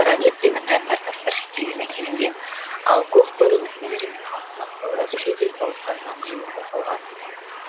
гранит пен мәрмәр тастар шетелден әкелінген ал көк бөрі мүсіндері мен алтын аптаулар шет ел зауыттарында құйылып жасалған